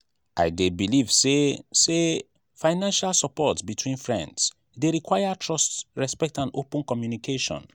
i dey believe say say financial support between friends dey require trust respect and open communication.